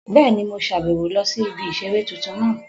Bẹ́ẹ̀ni, mo sàbẹ̀wo lọ sí ibi ìseré tuntun náà